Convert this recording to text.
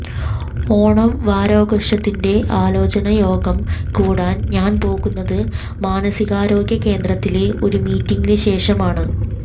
ഓണംവാരാഘോഷത്തിന്റെ ആലോചനായോഗം കൂടാൻ ഞാൻപോകുന്നത് മാനസികാരോഗ്യകേന്ദ്രത്തിലെ ഒരു മീറ്റിങ്ങിന് ശേഷമാണ്